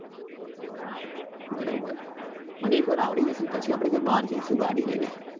બરોબર મને એક વાર અઆવડી જશે પછી આપડે કઈ બાર જઈશું ગાડી લઇ ને